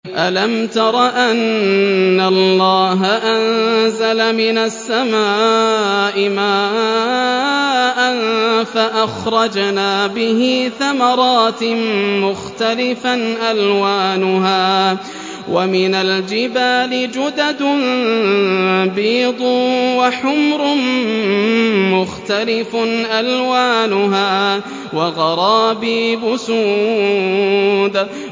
أَلَمْ تَرَ أَنَّ اللَّهَ أَنزَلَ مِنَ السَّمَاءِ مَاءً فَأَخْرَجْنَا بِهِ ثَمَرَاتٍ مُّخْتَلِفًا أَلْوَانُهَا ۚ وَمِنَ الْجِبَالِ جُدَدٌ بِيضٌ وَحُمْرٌ مُّخْتَلِفٌ أَلْوَانُهَا وَغَرَابِيبُ سُودٌ